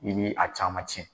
I ni a caman cɛ